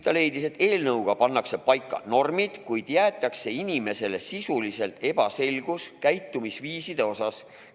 Ta leidis, et eelnõuga pannakse paika normid, kuid jäetakse inimesele sisuliselt ebaselgus käitumisviiside osas.